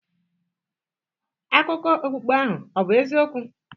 Akụkọ okpukpe ahụ ọ̀ bụ eziokwu?